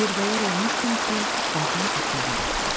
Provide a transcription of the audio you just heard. Yerbəyər olmuşdum ki, vaqon axmağa başladı.